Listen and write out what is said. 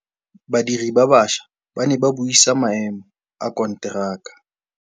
Badiri ba baša ba ne ba buisa maêmô a konteraka.